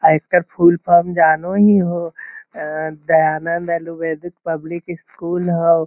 अ एकर full form जानो ही हो अ दयानन्द आयुर्वेदिक पब्लिक स्कूल हउ |